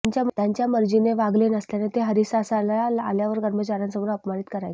त्यांच्या मर्जीने वागले नसल्याने ते हरीसालला आल्यावर कर्माचाऱ्यांसमोर अपमानित करायचे